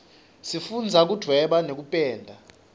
sifundza kuduweba nekupenda